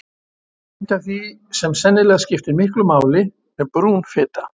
Eitt af því sem sennilega skiptir miklu máli er brún fita.